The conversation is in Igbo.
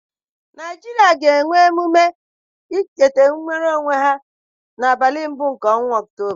Naịjirịa ga-eme emume ncheta inwere onwe ha n'abalị mbụ nke ọnwa Ọktoba.